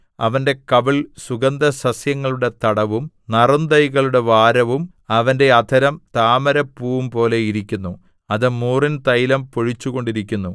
അവന്റെ കവിൾ സുഗന്ധസസ്യങ്ങളുടെ തടവും നറുന്തൈകളുടെ വാരവും അവന്റെ അധരം താമരപ്പൂവുംപോലെ ഇരിക്കുന്നു അത് മൂറിൻ തൈലം പൊഴിച്ചുകൊണ്ടിരിക്കുന്നു